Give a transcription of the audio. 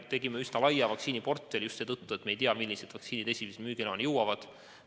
Tegime üsna laia vaktsiiniportfelli just seetõttu, et me ei teadnud, millised vaktsiinid esimesena müügiloa saavad.